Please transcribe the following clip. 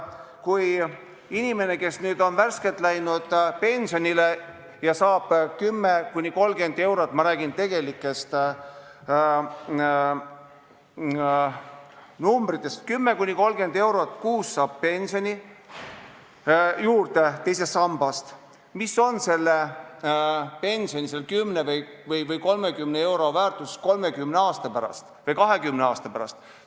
Kui inimene, kes on värskelt läinud pensionile ja saab 10–30 eurot – ma räägin tegelikest numbritest – kuus pensionile juurde teisest sambast, siis mis on selle pensionilisa, selle 10 või 30 euro väärtus 20 või 30 aasta pärast?